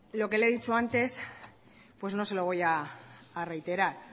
lo que le he dicho antes no se lo voy a reiterar